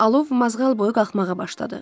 Alov mazğal boyu qalxmağa başladı.